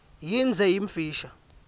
yindze yimfisha